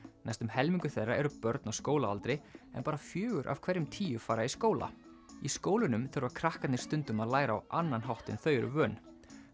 næstum helmingur þeirra eru börn á skólaaldri en bara fjögur af hverjum tíu fara í skóla í skólunum þurfa krakkarnir stundum að læra á annan hátt en þau eru vön